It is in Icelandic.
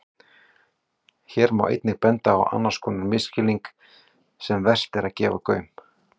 Hér má einnig benda á annars konar skilning sem vert er að gefa gaum.